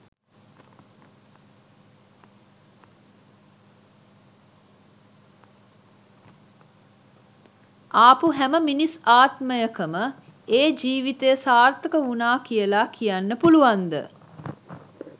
ආපු හැම මිනිස් ආත්මයකම ඒ ජීවිතය සාර්ථක වුණා කියලා කියන්න පුළුවන්ද?